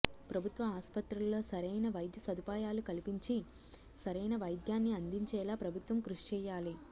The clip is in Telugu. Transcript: ప్రభుత్వ ఆస్పత్రుల్లో సరైన వైద్యసదుపాయాలు కల్పించి సరైన వైద్యాన్ని అందించేలా ప్రభుత్వం కృషి చేయాలి